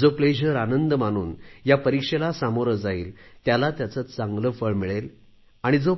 जो आनंद मानून या परीक्षेला सामोरे जाईल त्याला त्याचे चांगले फळ मिळेल आणि जो